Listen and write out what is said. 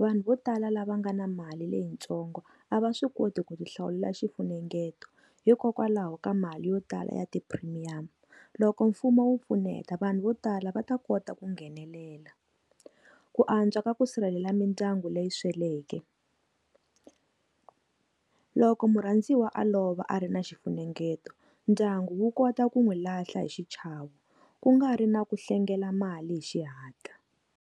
vanhu vo tala lava nga na mali leyitsongo a va swi koti ku ti hlawulela xifunengeto hikokwalaho ka mali yo tala ya ti primium loko mfumo wu pfuneta vanhu vo tala va ta kota ku nghenelela. Ku antswa ka ku sirhelela mindyangu leyi sweleke. Loko murhandziwa a lova a ri na xifunengeto ndyangu wu kota ku n'wi lahla hi xichava ku nga ri na ku hlengela mali hi xihantla.